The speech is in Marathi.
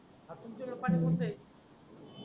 आज तुमच्या कड पानी कोणत आहेत.